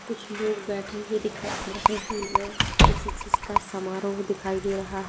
कुछ लोग बैठे हुए दिखाई दे रहे स्कूल में किसी चीज का समारोह दिखाई दे रहा--